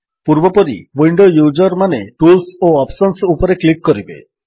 ପୂର୍ବପରି ୱିଣ୍ଡୋ ୟୁଜରମାନେ ଟୁଲ୍ସ ଓ ଅପ୍ସନ୍ସ ଉପରେ କ୍ଲିକ୍ କରିବେ